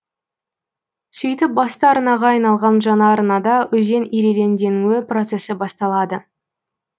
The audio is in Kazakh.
сөйтіп басты арнаға айналган жаңа арнада өзен ирелеңденуі процесі басталады